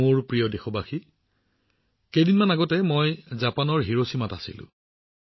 মোৰ মৰমৰ দেশবাসীসকল মাত্ৰ কেইদিনমান আগতে মই জাপানৰ হিৰোছিমাত আছিলো